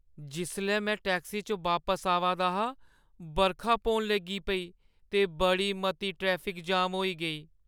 जिसलै में टैक्सी च बापस आवा दा हा, बरखा पौन लगी पेई ते बड़ी मती ट्रैफिक जाम होई गेई।